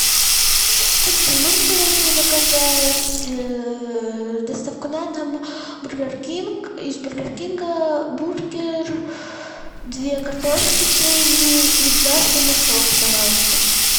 добрый день можно пожалуйста заказать доставку на дом бургер кинг из бургер кинга бургер две картошки средние и два сырных соуса пожалуйста